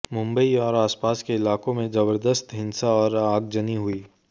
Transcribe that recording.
मुंबई और आसपास के इलाकों में जबरदस्त हिंसा और आगजनी हुई